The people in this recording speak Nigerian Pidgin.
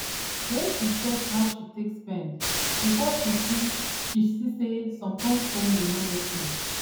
when she check how she take spend before she see she see say some kyn spending no make sense